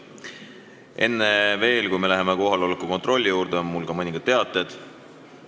Enne kui me läheme kohaloleku kontrolli juurde, on mul mõned teated.